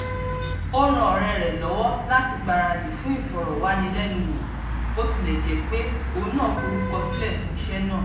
ó ran ọ̀rẹ́ rẹ̀ lọ́wọ́ láti gbaradì fún ìfọ̀rọ̀wánilẹ́nuwò bó tilẹ̀ jẹ́ pé òun náà forúkọsílẹ̀ fún iṣẹ́ náà